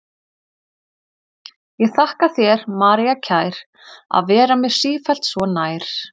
Ég þakka þér, María kær, að vera mér sífellt svo nær.